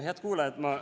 Head kuulajad!